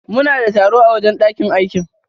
Muna da taro a wajen ɗakin aikin.